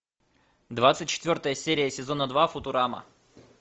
двадцать четвертая серия сезона два футурама